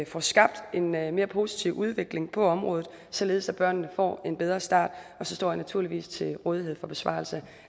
får skabt en mere mere positiv udvikling på området således at børnene får en bedre start og så står jeg naturligvis til rådighed for besvarelse